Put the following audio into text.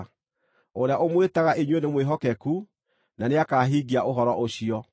Ũrĩa ũmwĩtaga inyuĩ nĩ mwĩhokeku, na nĩakahingia ũhoro ũcio.